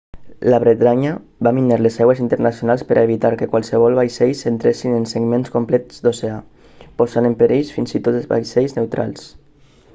la bretanya va minar les aigües internacionals per a evitar que qualssevol vaixells entressin en segments complets d'oceà posant en perill fins i tot vaixells neutrals